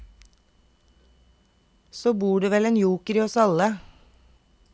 Så bor det vel en joker i oss alle.